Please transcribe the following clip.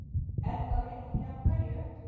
Edda veit ekki af hverju.